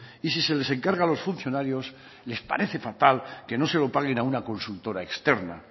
y si se les encarga a los funcionarios les parece fatal que no se lo paguen a una consultora externa